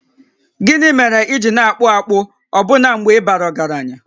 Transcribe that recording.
Gịnị mere i ji na-akpụ akpụ ọbụna mgbe ị bara ọgaranya?